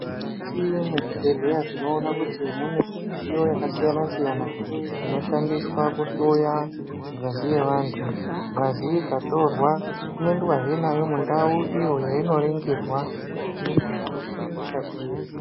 Mukati mwezvibhedhleya tinoona kuti mune midziyo yakasiyana siyana inoshandiswa kuhloya ngazi yevantu. Ngazi ikatorwa inoendwahe nayo mundau iyo yainoringirwa kuti ingadai ine hosha iri.